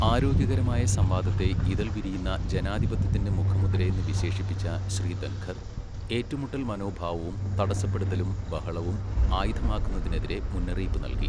ആരോഗ്യകരമായ സംവാദത്തെ ഇതൾ വിരിയുന്ന ജനാധിപത്യത്തിന്റെ മുഖമുദ്രയെന്ന് വിശേഷിപ്പിച്ച ശ്രീ ധൻഖർ, ഏറ്റുമുട്ടൽ മനോഭാവവും തടസ്സപ്പെടുത്തലും ബഹളവും ആയുധമാക്കുന്നതിനെതിരെ മുന്നറിയിപ്പ് നൽകി.